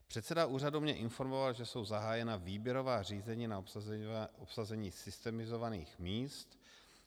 Předseda úřadu mě informoval, že jsou zahájena výběrová řízení na obsazení systemizovaných míst.